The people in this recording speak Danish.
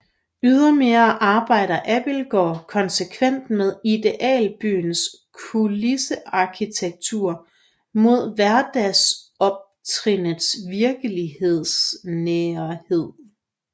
Ydermere arbejder Abildgaard konsekvent med idealbyens kulissearkitektur mod hverdagsoptrinnets virkelighedsnærhed